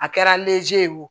A kɛra neze ye o